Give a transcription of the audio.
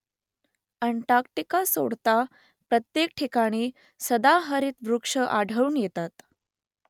Antarctica सोडता प्रत्येक ठिकाणी सदाहरित वृक्ष आढळून येतात